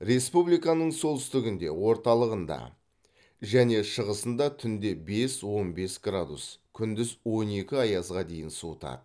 республиканың солтүстігінде орталығында және шығысында түнде бес он бес градус күндіз он екі аязға дейін суытады